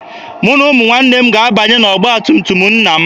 Mụ na ụmụnne m ga-abanye n'ọgba tum tum nna m.